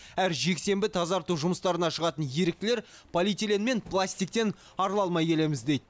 әр жексенбі тазарту жұмыстарына шығатын еріктілер полиэтилен мен пластиктен арыла алмай келеміз дейді